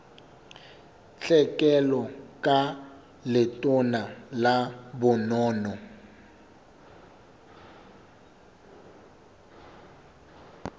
tlhekelo ka letona la bonono